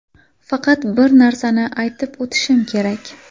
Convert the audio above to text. Faqat bir narsani aytib o‘tishim kerak.